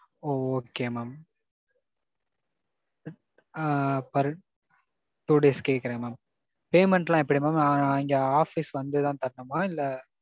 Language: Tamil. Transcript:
Okay mam ஆ per two days க்கு கேக்குறேன் mam. Payment எல்லாம் எப்பிடி mam. அங்க office வந்து தான் கட்டணுமா, இல்ல.